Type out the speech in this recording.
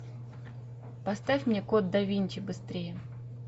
поставь мне код да винчи быстрее